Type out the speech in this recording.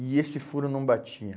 E esse furo não batia.